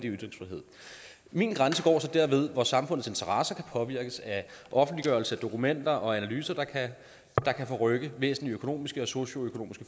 ytringsfrihed min grænse går så derved hvor samfundets interesser kan påvirkes af offentliggørelse af dokumenter og analyser der kan forrykke væsentlige økonomiske og socioøkonomiske